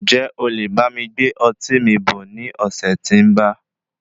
Ǹjẹ́ olè bámi gbé ọtí mi bọ̀ ní ọ̀sẹ̀ tí ń ba?